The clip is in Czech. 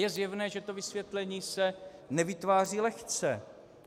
Je zjevné, že to vysvětlení se nevytváří lehce.